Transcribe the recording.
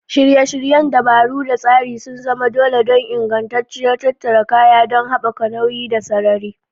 Shirye-shiryen dabaru da tsari sun zama dole don ingantacciyar tattara kaya don haɓaka nauyi da sarari.